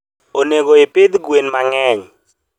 onego ipidh gwen ma ng`eny.